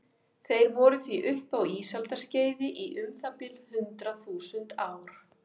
Þeir voru því uppi á ísaldarskeiði í um það bil hundrað þúsund ár.